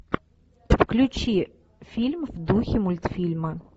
включи фильм в духе мультфильма